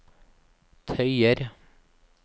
tøyer